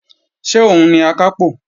Ṣé òun ni Akápò?